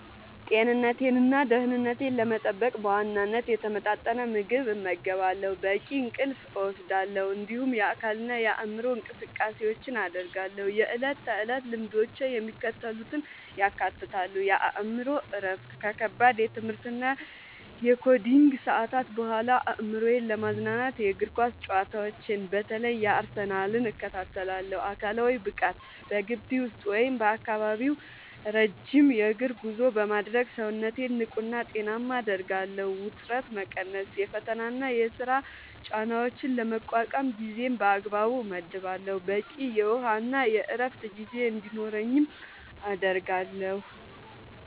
ጤንነቴንና ደህንነቴን ለመጠበቅ በዋናነት የተመጣጠነ ምግብ እመገባለሁ፣ በቂ እንቅልፍ እወስዳለሁ፣ እንዲሁም የአካልና የአእምሮ እንቅስቃሴዎችን አደርጋለሁ። የዕለት ተዕለት ልምዶቼ የሚከተሉትን ያካትታሉ፦ የአእምሮ እረፍት፦ ከከባድ የትምህርትና የኮዲንግ ሰዓታት በኋላ አእምሮዬን ለማዝናናት የእግር ኳስ ጨዋታዎችን (በተለይ የአርሰናልን) እከታተላለሁ። አካላዊ ብቃት፦ በግቢ ውስጥ ወይም በአካባቢው ረጅም የእግር ጉዞ በማድረግ ሰውነቴን ንቁና ጤናማ አደርጋለሁ። ውጥረት መቀነስ፦ የፈተናና የሥራ ጫናዎችን ለመቋቋም ጊዜን በአግባቡ እመድባለሁ፣ በቂ የውሃና የዕረፍት ጊዜ እንዲኖረኝም አደርጋለሁ።